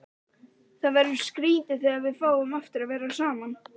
Það verður skrýtið þegar við fáum aftur að vera saman.